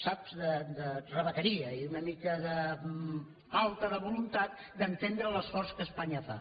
saps de rebequeria i una mica de falta de voluntat d’entendre l’esforç que espanya fa